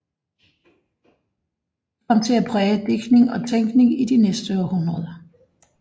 De kom til at præge digtning og tænkning i de næste århundreder